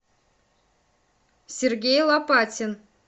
сергей лопатин